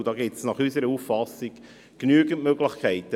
Dafür gibt es nach unserer Auffassung genügend Möglichkeiten.